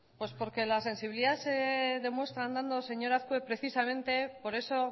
pues porque la sensibilidad se demuestra andado señor azkue precisamente por eso